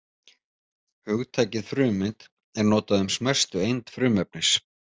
Hugtakið frumeind er notað um smæstu eind frumefnis.